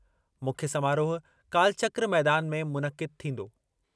मुख्य समारोह कालचक्र मैदान में मुनक़िद थींदो।